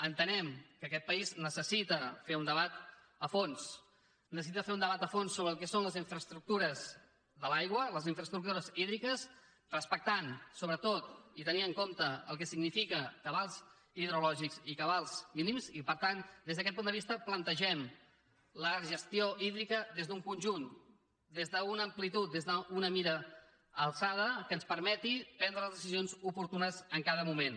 entenem que aquest país necessita fer un debat a fons necessita fer un debat a fons sobre el que són les infraestructures de l’aigua les infraestructures hídriques respectant sobretot i tenint en compte el que signifiquen cabals hidrològics i cabals mínims i per tant des d’aquest punt de vista plantegem la gestió hídrica des d’un conjunt des d’una amplitud des d’una mira alçada que ens permeti prendre les decisions oportunes en cada moment